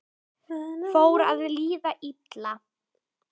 Fór að líða illa